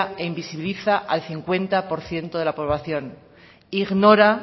e invisibiliza al cincuenta por ciento de la población ignora